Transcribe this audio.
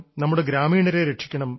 നമ്മുടെ ഗ്രാമീണരെ രക്ഷിക്കണം